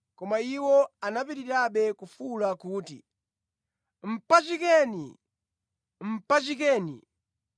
Koma iwo anapitirirabe kufuwula kuti, “Mpachikeni! Mpachikeni!”